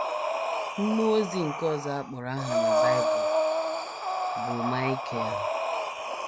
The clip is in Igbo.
Mmụọ ozi nke ọzọ a kpọrọ aha na Bible bụ Maịkel.